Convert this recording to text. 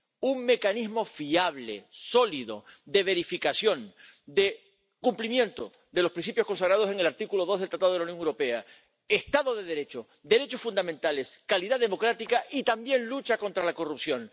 Un mecanismo fiable, sólido, de verificación, de cumplimiento de los principios consagrados en el artículo 2 del Tratado de la Unión Europea. Estado de Derecho, derechos fundamentales, calidad democrática y, también, lucha contra la corrupción.